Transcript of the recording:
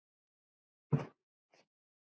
Það var kjarni máls.